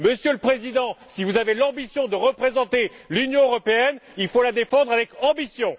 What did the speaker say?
Monsieur le Président, si vous avez l'ambition de représenter l'Union européenne, il faut la défendre avec ambition!